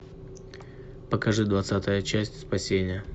покажи двадцатая часть спасение